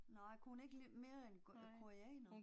Nej, kunne hun ikke mere en koreaner?